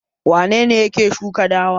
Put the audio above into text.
Wane ne yake shuka dawa?